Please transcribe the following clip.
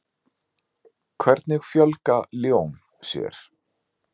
Hvernig fjölga ljón sér?